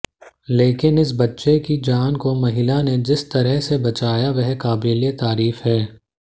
लेकिन इस बच्चे की जान को महिला ने जिस तरह से बचाया वह काबिलेतारीफ है